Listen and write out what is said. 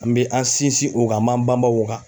An be an sinsin o kan an b'an banban o kan